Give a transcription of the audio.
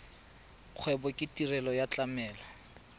kgwebo ke tirelo ya tlamelo